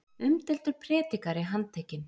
Umdeildur prédikari handtekinn